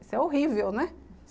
Isso é horrível, né?